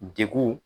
Degun